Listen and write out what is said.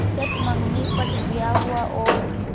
चट मँगनी पट ब्याह हुआ और